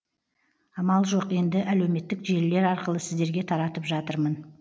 амал жоқ енді әлеуметтік желілер арқылы сіздерге таратып жатырмын